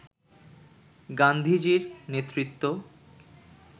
গান্ধীজির নেতৃত্ব